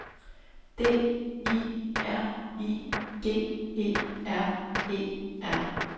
D I R I G E R E R